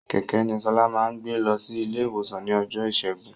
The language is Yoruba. Kẹ̀kẹ́ ni Ṣọlá máa gbé lọsí ilé ìwòsan ní ọjọ́ ìṣẹ́gun